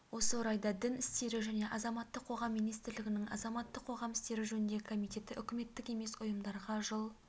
осы орайда дін істері және азаматтық қоғам министрлігінің азаматтық қоғам істері жөніндегі комитеті үкіметтік емес ұйымдарға жыл